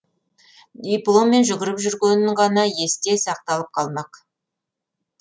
дипломмен жүгіріп жүргенін ғана есте сақталып қалмақ